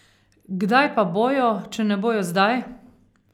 Kdaj pa bojo, če ne bojo zdaj?